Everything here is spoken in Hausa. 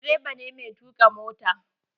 Direba ne mai tuƙa mota.